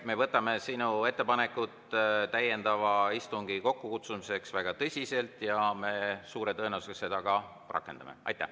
Me võtame sinu ettepanekut täiendava istungi kokkukutsumiseks väga tõsiselt ja me suure tõenäosusega seda ka rakendame.